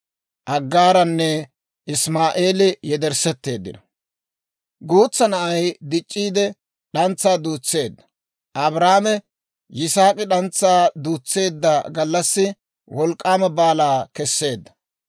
Guutsa na'ay dic'c'iide; d'antsaa duutseedda; Abrahaame Yisaak'i d'antsaa duutseedda gallassi wolk'k'aama baalaa keseedda.